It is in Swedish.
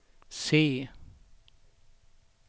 se